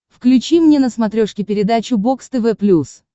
включи мне на смотрешке передачу бокс тв плюс